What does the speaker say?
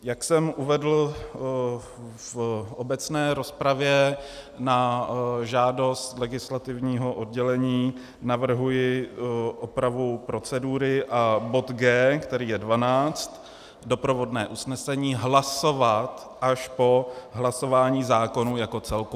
Jak jsem uvedl v obecné rozpravě, na žádost legislativního oddělení navrhuji opravu procedury a bod G, který je 12, doprovodné usnesení, hlasovat až po hlasování zákonu jako celku.